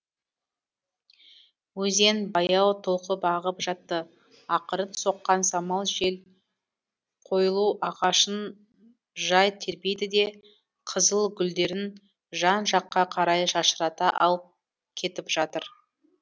өзен баяу толқып ағып жатты ақырын соққан самал жел койлю ағашын жай тербейді де қызыл гүлдерін жан жаққа қарай шашырата алып кетіп жатыр